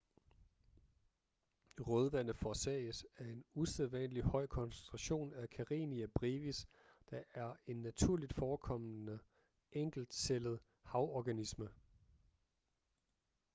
rødvande forårsages af en usædvanligt høj koncentration af karenia brevis der er en naturligt forekommende enkeltcellet havorganisme